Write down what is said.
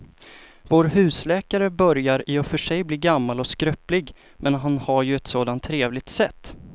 Vår husläkare börjar i och för sig bli gammal och skröplig, men han har ju ett sådant trevligt sätt!